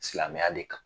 Silamɛya de kan